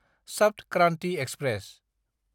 Sapt Kranti express